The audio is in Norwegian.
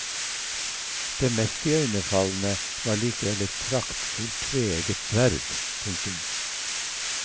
Det mest iøyenfallende var likevel et praktfult tveegget sverd. punktum